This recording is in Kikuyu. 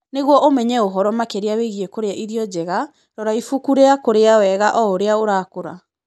Nĩguo ũmenye ũhoro makĩria wĩgiĩ kũrĩa irio njega, rora ibuku rĩa kũrĩa wega o ũrĩa ũrakũra.